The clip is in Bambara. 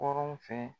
Kɔrɔn fɛ